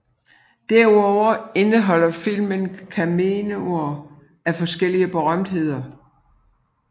Derudover indeholder filmen cameoer af forskellige berømtheder